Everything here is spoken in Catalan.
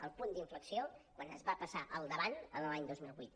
el punt d’inflexió quan es va passar al davant en l’any dos mil vuit